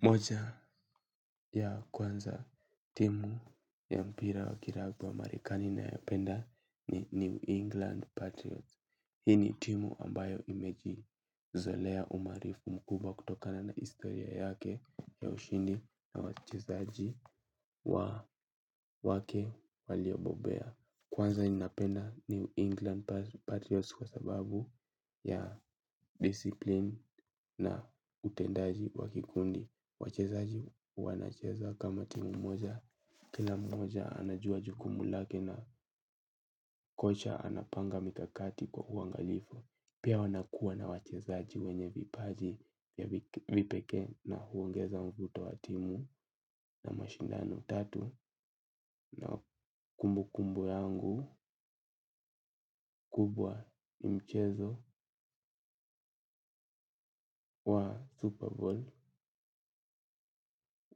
Moja ya kwanza timu ya mpira wa kilabu ya marikani nayopenda ni New England Patriots. Hii ni timu ambayo imejizolea umarifu mkubwa kutokana na historia yake ya ushindi na wachezaji wa wake waliobobea. Kwanza ninapenda New England Patriots kwa sababu ya discipline na utendaji wakikundi. Wachezaji wanacheza kama timu moja. Kila moja anajua jukumu lake na kocha anapanga mikakati kwa uangalifu. Pia wanakua na wachezaji wenye vipaji ya vipeke na huongeza mvuto wa timu na mashindano tatu na kumbukumbu yangu kubwa ni mchezo wa Super Bowl.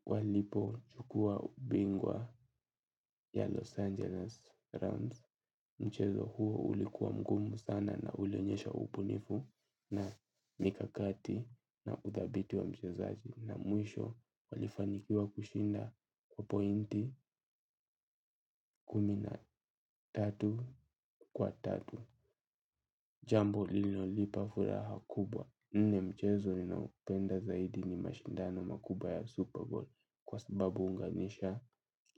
Walipo chukua ubingwa ya Los Angeles Rams. Mchezo huo ulikuwa mgumu sana na ulionyesha ubunifu na mikakati na uthabiti wa mchezaji na mwisho walifanikiwa kushinda kwa pointi kumi na tatu kwa tatu. Jambo lilionipa furaha kubwa hii ni mchezo ninaopenda zaidi ni mashindano makubwa ya Super Bowl kwa sababu huunganisha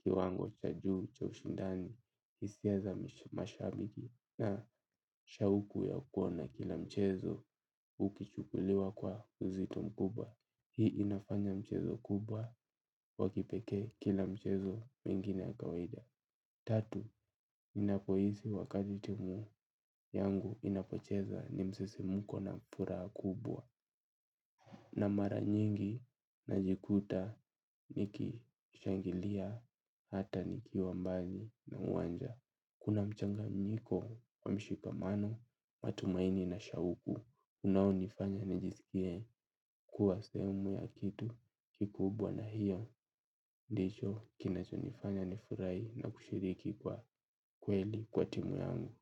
kiwango cha juu cha ushindani hisia za mashabiki na shauku ya kuona kila mchezo ukichukuliwa kwa uzito mkubwa. Hii inafanya mchezo kubwa wakipeke kila mchezo mingine ya kawadia. Tatu, ninapo hisi wakati timu yangu inapocheza ni msisimuko na furaha kubwa na mara nyingi najikuta ni kishangilia hata ni kiwa mbali na uwanja. Kuna mchanganyiko wa mshikamano, matumaini na shauku unao nifanya nijisikie kuwa sehemu ya kitu kikubwa na hiyo. Ndicho kinacho nifanya nifurahi na kushiriki kwa kweli kwa timu yangu.